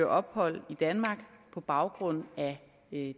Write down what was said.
ophold i danmark på baggrund af